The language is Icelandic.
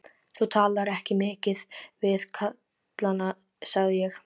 Þú talar ekki mikið við kallana, sagði ég.